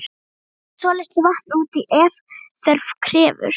Bætið svolitlu vatni út í ef þörf krefur.